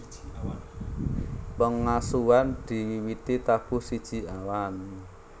Pengasuhan diwiwiti tabuh siji awan